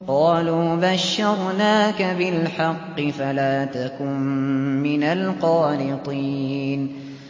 قَالُوا بَشَّرْنَاكَ بِالْحَقِّ فَلَا تَكُن مِّنَ الْقَانِطِينَ